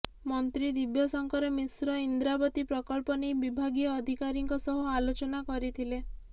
ମନ୍ତ୍ରୀ ଦିବ୍ୟଶଙ୍କର ମିଶ୍ର ଇନ୍ଦ୍ରାବତୀ ପ୍ରକଳ୍ପ ନେଇ ବିଭାଗୀୟ ଅଧିକାରୀଙ୍କ ସହ ଆଲୋଚନା କରିଥିଲେ